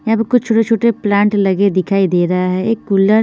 या पे कुछ छोटे छोटे प्लांट लगे हुए दिखाई दे रहे है एक कूलर --